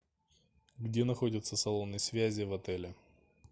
где находятся салоны связи в отеле